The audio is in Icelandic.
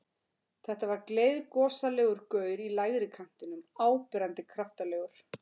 Þetta var gleiðgosalegur gaur í lægri kantinum, áberandi kraftalegur.